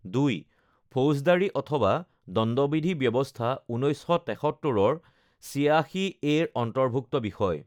২. ফৌজদাৰি অথবা দণ্ডবিধি ব্যৱস্থা, ১৯৭৩ৰ ৮৬এৰ অন্তৰ্ভূক্ত বিষয়